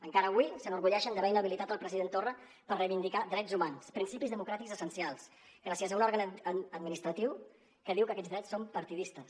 encara avui s’enorgulleixen d’haver inhabilitat el president torra per reivindicar drets humans principis democràtics essencials gràcies a un òrgan administratiu que diu que aquests drets són partidistes